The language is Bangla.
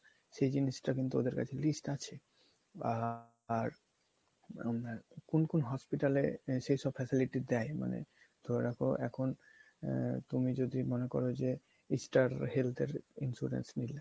সেই জিনিসটা কিন্তু ওদের কাছে list আছে আর আপনার কোন কোন hospital এ সেই সব facility দেয় মানে ধরে রাখো এখন আহ তুমি যদি মনে করো যে Star Health এর insurance নিলে।